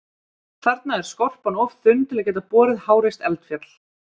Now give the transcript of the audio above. Þarna er skorpan of þunn til að geta borið háreist eldfjall.